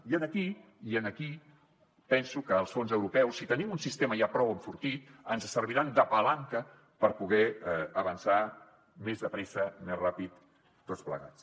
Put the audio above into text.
i aquí penso que els fons europeus si tenim un sistema ja prou enfortit ens serviran de palanca per poder avançar més de pressa més ràpidament tots plegats